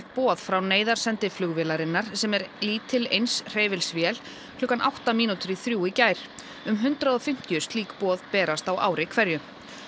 boð frá neyðarsendi flugvélarinnar sem er lítil eins hreyfils vél klukkan átta mínútur í þrjú í gær um hundrað og fimmtíu slík boð berast á ári hverju